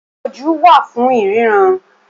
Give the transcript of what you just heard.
Ojú wà fún ìríran